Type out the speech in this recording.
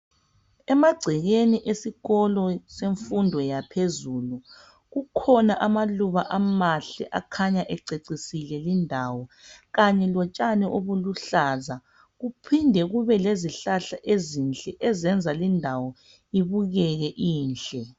Emagcekeni esikolo semfundo yaphezulu kukhona amaluba amahle akhanya ececisile lindawo kanye lotshani obuluhlaza kuphinde kube lezihlahla ezinhle ezenza lindawo ibukeke inhle.